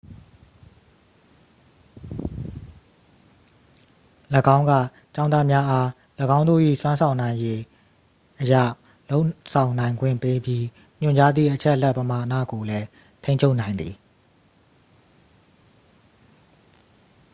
၎င်းက ကျောင်းသားများအား ၎င်းတို့၏စွမ်းဆောင်နိုင်ရည် အရ လုပ်ဆောင်နိုင်ခွင့်ပေးပြီး ညွှန်ကြားသည့်အချက်အလက်ပမာဏကိုလည်း ထိန်းချုပ်နိုင်သည်